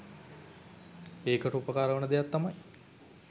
ඒකට උපකාර වන දෙයක් තමයි